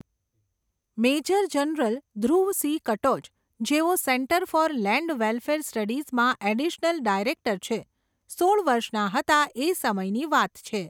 Major general Dhruv C Katoch, જેઓ centre for land welfare સ્ટડીઝમાં additional director છે, સોળ વર્ષના હતા એ સમયની વાત છે.